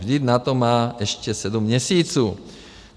Vždyť na to má ještě sedm měsíců.